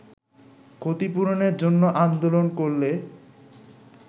ক্ষতিপূরনের জন্য আন্দোলন করলে